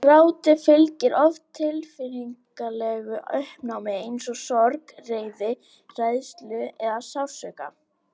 Gráti fylgir oft tilfinningalegu uppnámi eins og sorg, reiði, hræðslu eða sársauka.